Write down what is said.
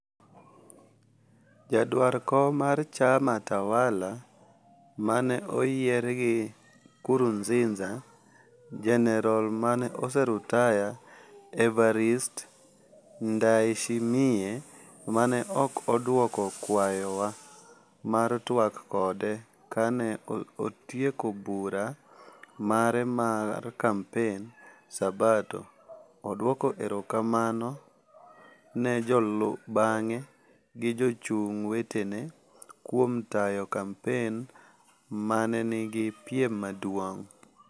Jaduar kom mar chama tawala maneoyier gi Nkuruziza, jenerol mane osaretire Evariste Ndayshimiye, mane ok odwoko kwayo wa mar twak kode kane otieko bura mare mar kampen sabato, oduoko erokamano ne jolubang'e gi jochung' wetene kuom tayo kampen mane nigi piem maduong'.